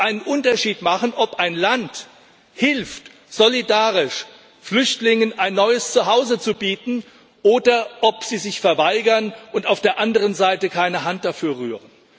Es muss einen Unterschied machen, ob ein Land hilft, solidarisch Flüchtlingen ein neues Zuhause zu bieten, oder ob es sich verweigert und auf der anderen Seite keine Hand dafür rührt.